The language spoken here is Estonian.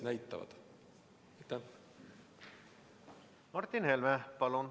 Martin Helme, palun!